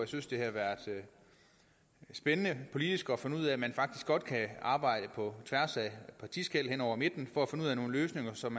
synes det har været spændende politisk at finde ud af at man faktisk godt kan arbejde på tværs af partiskel hen over midten for at finde ud af nogle løsninger som